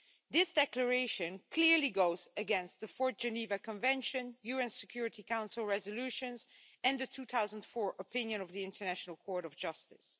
This declaration clearly goes against the 4th Geneva Convention, UN Security Council resolutions and the 2004 opinion of the International Court of Justice.